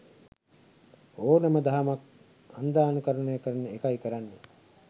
ඕනම දහමක් අන්ධානුකරණය කරන එකයි කරන්නෙ.